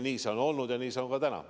Nii see on olnud ja nii see on ka täna.